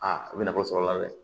Aa a bɛ na wari sɔrɔ a la dɛ